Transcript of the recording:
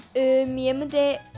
ég myndi